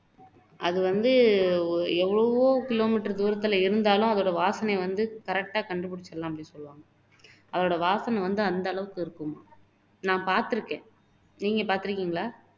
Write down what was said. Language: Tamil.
அது வந்து எவ்வளவோ கிலோமீட்டர் தூரத்துல இருந்தாலும் அதோட வாசனையை வந்து correct ஆ கண்டுபிடிச்சிடலாம்னு சொல்லுவாங்க அதோட வாசனை வந்து அந்த அளவுக்கு இருக்கும் நான் பார்த்திருக்கேன் நீங்க பார்த்திருக்கீங்களா